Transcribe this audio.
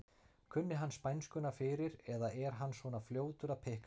Kunni hann spænskuna fyrir eða er hann svona fljótur að pikka þetta upp?